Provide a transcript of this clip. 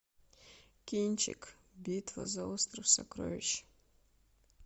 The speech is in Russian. кинчик битва за остров сокровищ